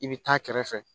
I bɛ taa kɛrɛfɛ